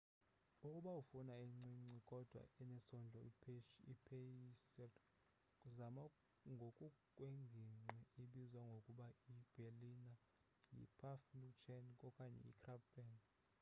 ukuba ufuna encinci kodwa enesondlo ipheysri zama ngokukwengingqi ibizwa ngokuba yiberliner yipfannkuchen okanye yikrapfen